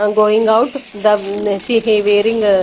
and going out the she wearing a --